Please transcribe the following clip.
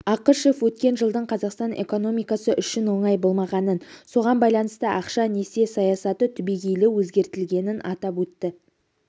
ақышев өткен жылдың қазақстан экономикасы үшін оңай болмағанын соған байланысты ақша-несие саясаты түбегейлі өзгертілгенін атап өтті